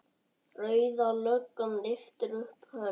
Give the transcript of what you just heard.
Rauða löggan lyftir upp hönd.